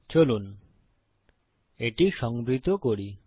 চলুন এটি সংভৃত করি